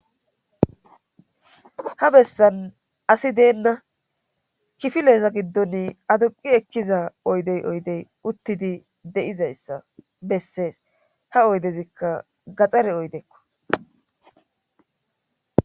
Ha bessan asi deenna kifileeza giddon aduqi ekkiza oydey oydey uttidi de7izayssa bessees ha oydezikka gaxxare oydeekko